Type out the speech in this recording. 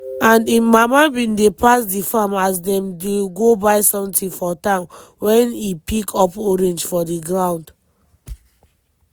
and im mama bin dey pass di farm as dem dey go buy sometin for town wen e pick up orange for di ground.